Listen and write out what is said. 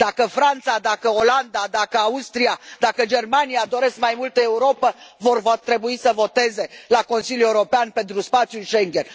Dacă Franța, dacă Olanda, dacă Austria, dacă Germania, doresc mai multă Europă, vor trebui să voteze la Consiliul European pentru spațiul Schengen.